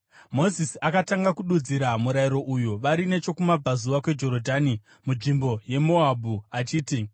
Mozisi akatanga kududzira murayiro uyu, vari nechokumabvazuva kweJorodhani munzvimbo yeMoabhu, achiti: